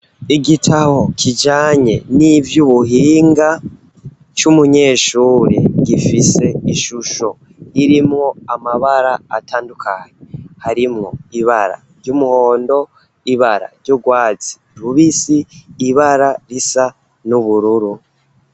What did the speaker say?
Igitabo kijanye nivy'ubuhinga c'umunyeshure, gifise ishusho irimwo amabara atandukanye. Harimwo ibara ry'umuhondo, ibara ry'urwazi rubisi, ibara risa n'ubururu.